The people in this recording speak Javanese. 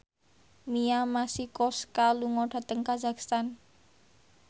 Mia Masikowska lunga dhateng kazakhstan